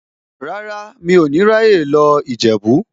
Rárá, mi ò ní ráyè lọ Ìjẹ̀bú.